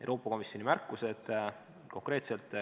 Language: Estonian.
Euroopa Komisjoni märkused.